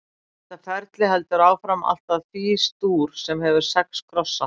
Þetta ferli heldur áfram allt að Fís-dúr, sem hefur sex krossa.